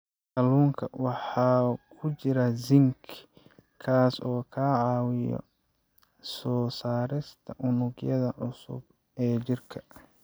Kalluunka waxaa ku jira zinc, kaas oo ka caawiya soo saarista unugyada cusub ee jirka.